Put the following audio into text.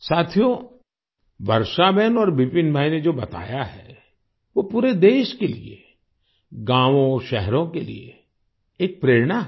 साथियो वर्षाबेन और विपिन भाई ने जो बताया है वो पूरे देश के लिए गांवोंशहरों के लिए एक प्रेरणा है